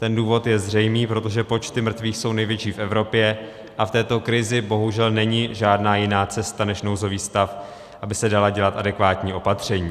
Ten důvod je zřejmý - protože počty mrtvých jsou největší v Evropě a v této krizi bohužel není žádná jiná cesta než nouzový stav, aby se dala dělat adekvátní opatření.